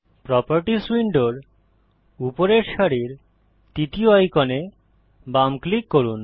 properties উইন্ডোর উপরের সারির তৃতীয় আইকনে বাম ক্লিক করুন